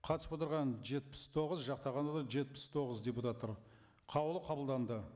қатысып отырған жетпіс тоғыз жақтағандар да жетпіс тоғыз депутаттар қаулы қабылданды